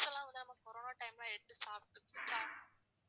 fruits லாம் வந்து நம்ம corona time ல எடுத்து சாப்பிட்டுக்கலாம்.